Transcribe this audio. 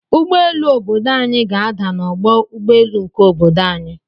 Ụgbọelu obodo anyi ga ada na ọgbọ ụgbọ elu nke obodo anyi.